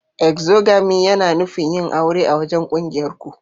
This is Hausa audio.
Exogamy yana nufin yin aure a wajen ƙungiyar ku.